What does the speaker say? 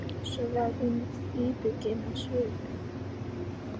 Svo varð hún íbyggin á svip.